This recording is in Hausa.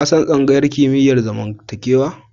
Ka san tsangayar kimiyyar zamantakewa?